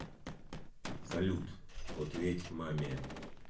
салют ответь маме